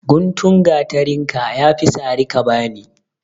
Guntun gateren ka, ya fi sara ka bani.